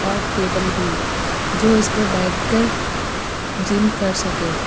और टेबल भी जो इस पे बैठकर जिम कर सके--